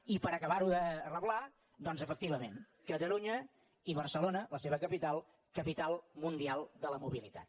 i per acabar ho de reblar doncs efectivament catalunya i barcelona la seva capital capital mundial de la mobilitat